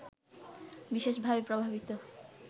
বিশেষভাবে প্রভাবিত